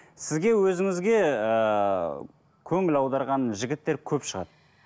сізге өзіңізге ыыы көңіл аударған жігіттер көп шығар